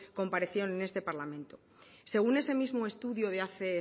comparecieron en este parlamento según ese mismo estudio de hace